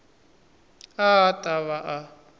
a a ta va a